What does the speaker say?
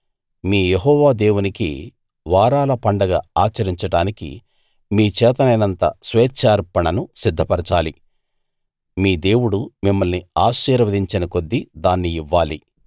మీ యెహోవా దేవునికి వారాల పండగ ఆచరించడానికి మీ చేతనైనంత స్వేచ్ఛార్పణను సిద్ధపరచాలి మీ దేవుడు మిమ్మల్ని ఆశీర్వదించిన కొద్దీ దాన్ని ఇవ్వాలి